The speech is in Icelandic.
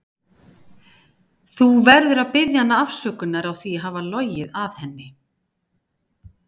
Þú verður að biðja hana afsökunar á því að hafa logið að henni.